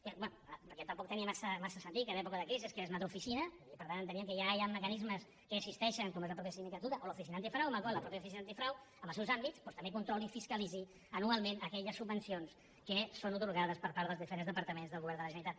bé tampoc tenia massa sentit que en època de crisi es creés una altra oficina i per tant enteníem que ja hi han mecanismes que existeixen com és la mateixa sindicatura o l’oficina antifrau amb la qual cosa la mateixa l’oficina antifrau en els seus àmbits doncs també controli i fiscalitzi anualment aquelles subvencions que són atorgades per part dels diferents departaments del govern de la generalitat